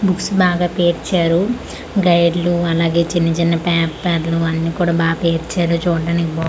books బాగా పేర్చారు guide లు అలాగే చిన్న చిన్న ప్యాప్ ప్యాపరు అన్నీ కూడ బాగ్ పేర్చారు చూడ్డానికి బాగ్ --